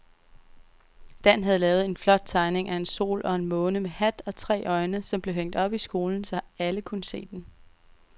Dan havde lavet en flot tegning af en sol og en måne med hat og tre øjne, som blev hængt op i skolen, så alle kunne se den.